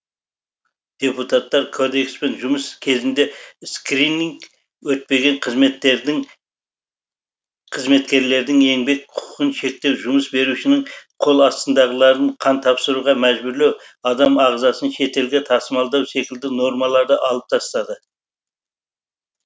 депутаттар кодекспен жұмыс кезінде скрининг өтпеген қызметкердің қызметкерлердің еңбек құқығын шектеу жұмыс берушінің қол астындағыларын қан тапсыруға мәжбүрлеу адам ағзасын шетелге тасымалдау секілді нормаларды алып тастады